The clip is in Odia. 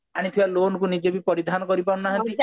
ଆଣିଥିବା loan କୁ ମଧ୍ୟ ପରିଧାନ କରିପାରୁ ନାହାନ୍ତି